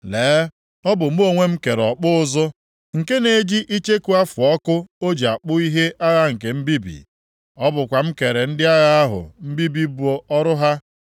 “Lee, ọ bụ mụ onwe m kere ọkpụ ụzụ nke na-eji icheku afụ ọkụ o ji akpụ ihe agha nke mbibi. Ọ bụkwa m kere ndị agha ahụ mbibi bụ ọrụ ha.